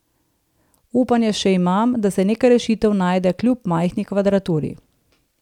Upanje še imam, da se neka rešitev najde kljub majhni kvadraturi.